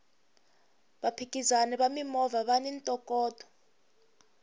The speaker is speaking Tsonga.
vaphikizani va mimovha vani ntokoto